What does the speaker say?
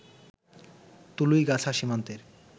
তুলইগাছা সীমান্তের